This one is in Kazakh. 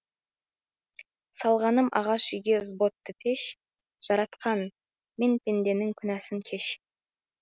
салғаным ағаш үйге зботты пеш жаратқан мен пендеңнің күнәсін кеш